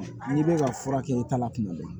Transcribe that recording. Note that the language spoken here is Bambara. N'i bɛ ka fura kɛ i ta la tuma bɛɛ